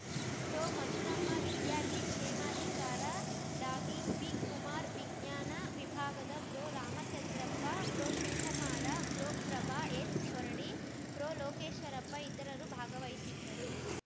ಪ್ರೊಮಧುರಮ್ಮ ವಿದ್ಯಾರ್ಥಿ ಕ್ಷೇಮಾಧಿಕಾರ ಡಾಬಿಪಿಕುಮಾರ್ ವಿಜ್ಞಾನ ವಿಭಾಗದ ಪ್ರೊರಾಮಚಂದ್ರಪ್ಪ ಪ್ರೊಶಿವಕುಮಾರ ಪ್ರೊಪ್ರಭಾ ಎಸ್‌ಹೊರಡಿ ಪ್ರೊಲೋಕೇಶ್ವರಪ್ಪ ಇತರರು ಭಾಗವಹಿಸಿದ್ದರು